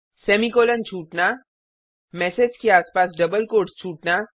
semicolon छूटना message के आसपास डबल कोट्स छूटना